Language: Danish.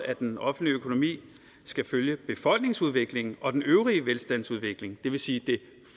at den offentlige økonomi skal følge befolkningsudviklingen og den øvrige velstandsudvikling det vil sige det